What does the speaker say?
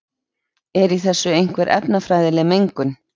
er í þessu einhver efnafræðileg mengun